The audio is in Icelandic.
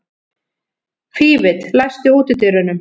Fífill, læstu útidyrunum.